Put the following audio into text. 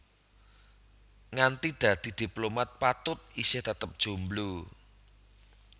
Nganti dadi diplomat Patut isih tetep jomblo